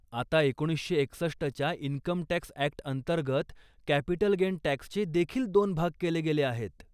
आता एकोणीसशे एकसष्टच्या इन्कमटॅक्स ॲक्ट अंतर्गत, कॅपिटल गेन टॅक्सचे देखील दोन भाग केले गेले आहेत.